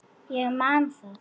Ég man það.